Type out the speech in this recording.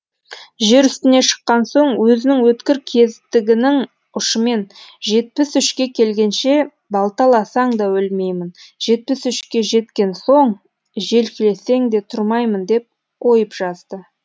жер үстіне шыққан соң өзінің өткір кездігінің ұшымен жетпіс үшке келгенше балталасаң да өлмеймін жетпіс үшке жеткен соң желкелесең де тұрмаймын деп ойып жазды